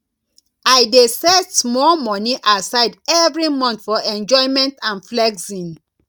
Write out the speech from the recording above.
i dey set small money aside every month for enjoyment and flexing